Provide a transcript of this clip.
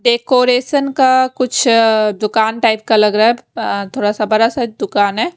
Decoration का कुछ दुकान टाइप का लग रहा है थोड़ा सा बड़ा सा दुकान है।